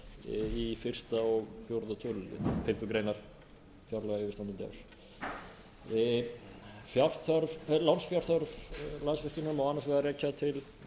í fyrsta og fjórða tölulið fimmtu grein fjárlaga yfirstandandi árs lánsfjárþörf landsvirkjunar má annars vegar rekja til